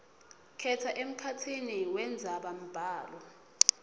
khetsa emkhatsini wendzabambhalo